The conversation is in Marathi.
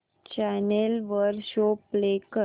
चॅनल वर शो प्ले कर